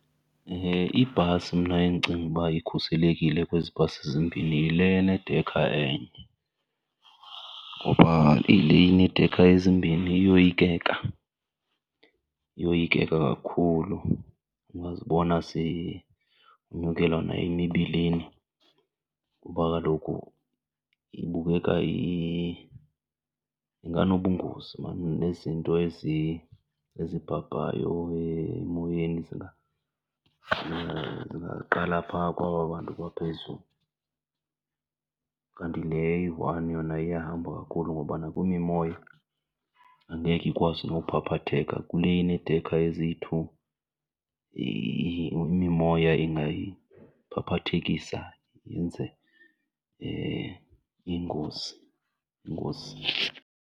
Ibhasi mna endicinga ukuba ikhuselekile kwezi bhasi zimbini yile enedekha enye. Ngoba le ineedekha ezimbini iyoyikeka, iyoyikeka kakhulu. Ungazibona sewunyukelwa nayimibilini kuba kaloku ibukeka , inganobungozi mani nezinto ezibhabhayo emoyeni zingaqala phaa kwaba bantu baphezulu. Kanti le eyi-one yona iyahamba kakhulu ngoba nakwimimoya angekhe ikwazi nophaphatheka, kule ineedekha eziyi-two imimoya ingayiphaphathekisa yenze ingozi, ingozi.